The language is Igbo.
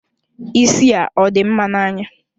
Isi a ọ dị mma n'anya?